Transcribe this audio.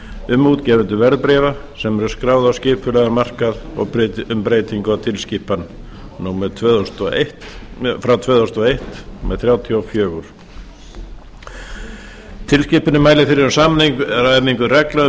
um útgefendur verðbréfa sem eru skráð á skipulegan markað og um breytingu á tilskipun tvö þúsund og eitt þrjátíu og fjögur e b tilskipunin mælir fyrir um samræmingu reglna um